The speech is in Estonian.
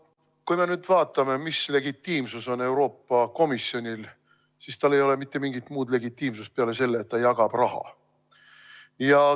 Kui me nüüd vaatame, mis legitiimsus on Euroopa Komisjonil, siis tal ei ole mitte mingit muud legitiimsust peale selle, et ta jagab raha.